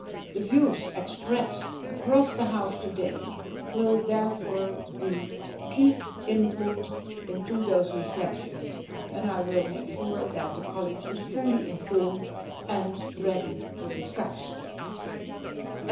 The views expressed across the House today will therefore be key input into those reflections, and I will make sure that the College of Commissioners is fully informed and ready to discuss these.